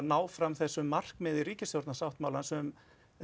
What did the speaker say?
áfram þessu markmiði ríkisstjórnarsáttmálans um